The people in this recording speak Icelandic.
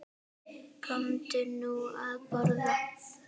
Komdu nú að borða